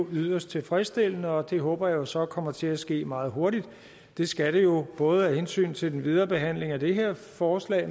yderst tilfredsstillende og det håber jeg så kommer til at ske meget hurtigt det skal det jo både af hensyn til den videre behandling af det her forslag